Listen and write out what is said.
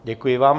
Děkuji vám.